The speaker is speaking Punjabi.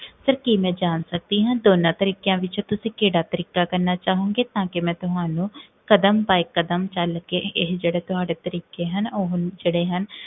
sir, ਕੀ ਮੈਂ ਜਾਨ ਸਕਦੀ ਹਾਂ, ਦੋਨਾ ਤਰੀਕਿਆਂ ਵਿਚੋਂ ਤੁਸੀਂ ਕੇਹੜਾ ਤਰੀਕਾ ਕਰਨਾ ਚਾਹੋਂਗੇ? ਤਾਂ ਕਿ ਮੈਂ ਤੁਹਾਨੂੰ, ਕਦਮ by ਕਦਮ, ਚਲ ਕੇ, ਇਹ ਜੇਹੜਾ ਤੁਹਾਡੇ ਤਰੀਕੇ ਹਨ, ਓਹ ਜੇਹੜੇ ਹਨ